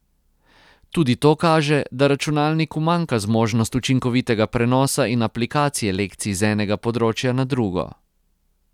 Tudi to kaže, da računalniku manjka zmožnost učinkovitega prenosa in aplikacije lekcij z enega področja na drugo.